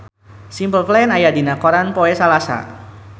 Simple Plan aya dina koran poe Salasa